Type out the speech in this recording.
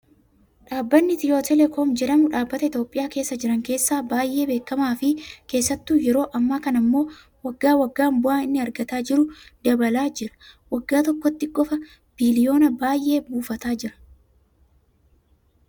Dhaabbanni Itiyoo telekoom jedhamu dhaabbata Itoophiyaa keessa jiran keessaa baay'ee beekamaa fi keessattuu yeroo ammaa kana immoo waggaa waggaan bu'aan inni argataa jiru dabalaa jira. Waggaa tokkotti qofaa biliyoona baay'ee buufataa jira.